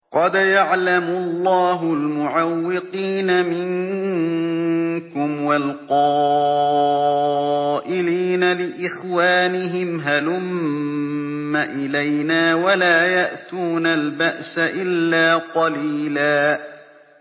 ۞ قَدْ يَعْلَمُ اللَّهُ الْمُعَوِّقِينَ مِنكُمْ وَالْقَائِلِينَ لِإِخْوَانِهِمْ هَلُمَّ إِلَيْنَا ۖ وَلَا يَأْتُونَ الْبَأْسَ إِلَّا قَلِيلًا